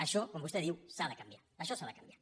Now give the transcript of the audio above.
això com vostè diu s’ha de canviar això s’ha de canviar